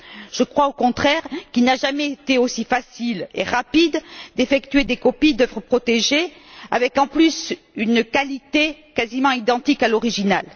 Je crois, au contraire, qu'il n'a jamais été aussi facile et rapide d'effectuer des copies d'œuvres protégées, avec, en outre, une qualité quasiment identique à l'original.